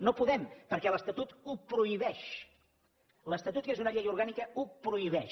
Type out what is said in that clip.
no podem perquè l’estatut ho prohibeix l’estatut que és una llei orgànica ho prohibeix